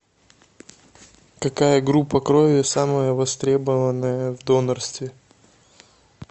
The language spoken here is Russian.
какая группа крови самая востребованная в донорстве